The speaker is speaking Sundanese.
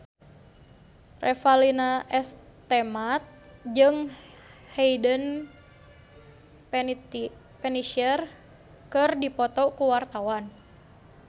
Revalina S. Temat jeung Hayden Panettiere keur dipoto ku wartawan